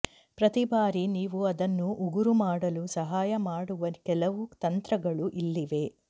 ಪ್ರತಿ ಬಾರಿ ನೀವು ಅದನ್ನು ಉಗುರು ಮಾಡಲು ಸಹಾಯ ಮಾಡುವ ಕೆಲವು ತಂತ್ರಗಳು ಇಲ್ಲಿವೆ